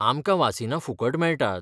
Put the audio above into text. आमकां वासिनां फुकट मेळटात.